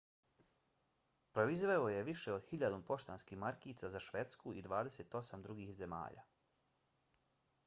proizveo je više od 1.000 poštanskih markica za švedsku i 28 drugih zemalja